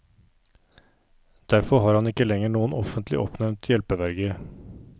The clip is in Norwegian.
Derfor har han ikke lenger noen offentlig oppnevnt hjelpeverge.